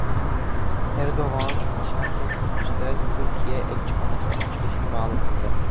Erdo‘g‘on Sharqiy Quddusda Turkiya elchixonasi ochilishini ma’lum qildi.